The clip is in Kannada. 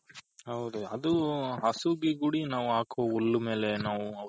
ಹೌದು ಹಸುಗೆ ಗುಡಿ ನಾವ್ ಹಾಕೋ ಹುಲ್ಲು ಮೇಲೆ ನಾವು